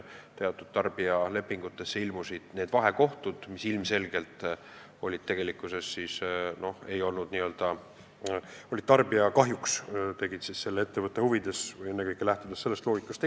Teatud tarbijalepingute puhul tegid vahekohtud ilmselgelt otsuseid tarbija kahjuks, lähtudes ennekõike ettevõtte huvidest.